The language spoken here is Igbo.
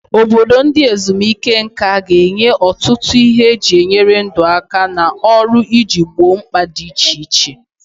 Obodo ndị ezumike nka ga-enye ọtụtụ ihe eji enyere ndụ aka na ọrụ iji gboo mkpa dị iche iche.